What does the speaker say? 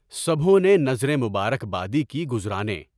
سبھوں نے نذریں مبارکبادی کی گزارنیں۔